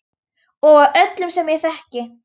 Og af öllum sem ég þekki.